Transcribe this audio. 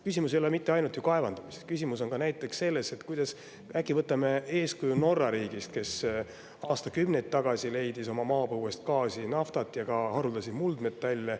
Küsimus ei ole mitte ju ainult kaevandamises, küsimus on ka näiteks selles, et äkki võtame eeskuju Norra riigist, kes aastakümneid tagasi leidis oma maapõuest gaasi, naftat ja ka haruldasi muldmetalle.